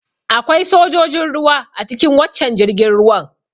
Akwai sojojin ruwa a cikin waccan jirgin ruwan.